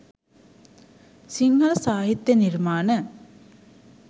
සිංහල සාහිත්‍ය නිර්මාණ